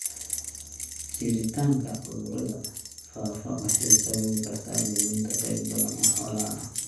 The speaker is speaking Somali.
Jiritaanka cudurrada faafa waxay sababi kartaa luminta qayb badan oo xoolaha ah.